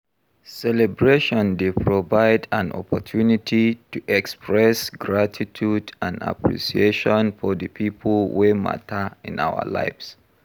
Celebration dey provide an opportunity to express gratitude and appreciation for di people wey mata in our lives.